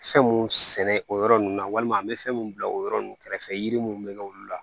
Fɛn mun sɛnɛ o yɔrɔ ninnu na walima an bɛ fɛn mun bila o yɔrɔ ninnu kɛrɛfɛ yiri minnu bɛ kɛ olu la